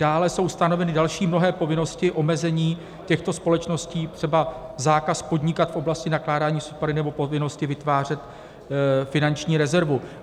Dále jsou stanoveny další mnohé povinnosti, omezení těchto společností, třeba zákaz podnikat v oblasti nakládání s odpady nebo povinnosti vytvářet finanční rezervu.